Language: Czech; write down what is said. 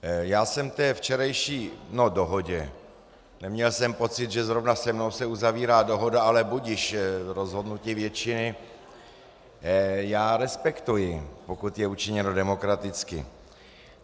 Já jsem té včerejší - no, dohodě - neměl jsem pocit, že zrovna se mnou se uzavírá dohoda, ale budiž, rozhodnutí většiny já respektuji, pokud je učiněno demokraticky.